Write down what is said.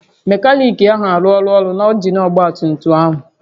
Mekaniki ahụ arụọla ọrụ na injin ọgba tum tum ahụ